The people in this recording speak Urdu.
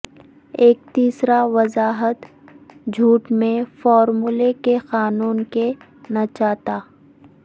ایک تیسرا وضاحت جھوٹ میں فارمولے کے قانون کے نیچتا